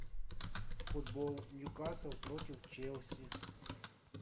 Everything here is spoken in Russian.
футбол ньюкасл против челси